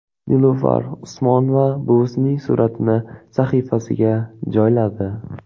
Nilufar Usmonova buvisining suratini sahifasiga joyladi.